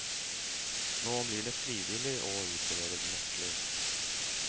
Nå blir det frivillig å utlevere nøkler.